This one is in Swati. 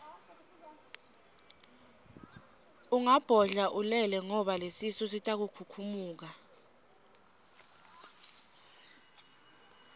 ungabodla ulele ngoba lesisu sitokhukhumuka